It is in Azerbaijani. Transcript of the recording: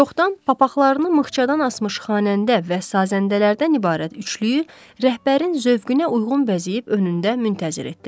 Çoxdan papaqlarını mıxçadan asmış xanəndə və sazəndələrdən ibarət üçlüyü rəhbərin zövqünə uyğun bəzəyib önündə müntəzir etdilər.